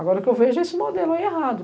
Agora o que eu vejo é esse modelo aí errado.